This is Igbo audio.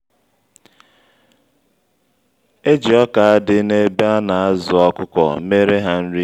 eji ọkà dị na-ebe ana-azụ ọkụkọ mere ha nri